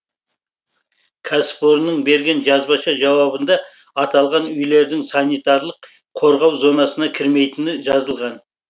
кәсіпорынның берген жазбаша жауабында аталған үйлердің санитарлық қорғау зонасына кірмейтіні жазылған